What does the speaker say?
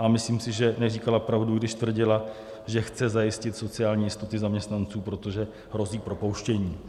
A myslím si, že neříkala pravdu, když tvrdila, že chce zajistit sociální jistoty zaměstnanců, protože hrozí propouštění.